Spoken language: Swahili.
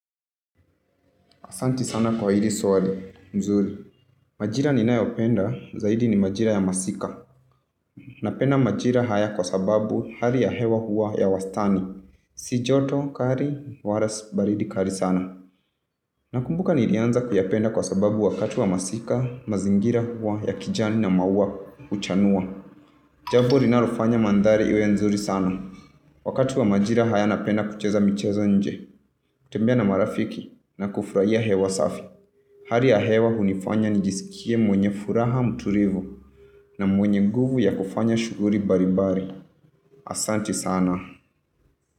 Asante sana kwa hili swali. Mzuri. Majira ninayopenda, zaidi ni majira ya masika. Napenda majira haya kwa sababu hari ya hewa huwa ya wastani. Si joto kari, wala si baridi kari sana. Nakumbuka nilianzaku kuyapenda kwa sababu wakatu wa masika, mazingira huwa, ya kijani na mawa, uchanua. Jabo linalofanya mandhari iwe mzuri sana. Wakati wa majira haya napenda kuchezamichezonje. Kutembia na marafiki na kufuraya hewa safi. Hali ya hewa hunifanya nijisikie mwenye furaha muturivu na mwenye guvu ya kufanya shuguri baribari. Asante sana.